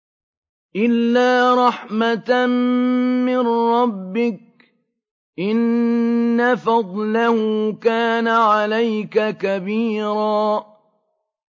إِلَّا رَحْمَةً مِّن رَّبِّكَ ۚ إِنَّ فَضْلَهُ كَانَ عَلَيْكَ كَبِيرًا